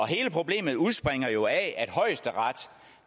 hele problemet udspringer jo af at højesteret